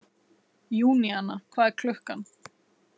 Júníana, hvað er klukkan?